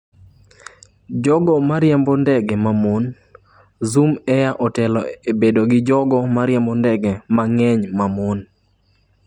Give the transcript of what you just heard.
Jogo ma riembo ndege ma mon: Zoom Air otelo e bedo gi jogo ma riembo ndege mang’eny ma mon